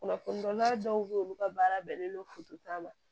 Kunnafoni wɛrɛ dɔw be ye olu ka baara bɛnnen don ta ma